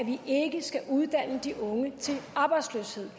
vi ikke skal uddanne de unge til arbejdsløshed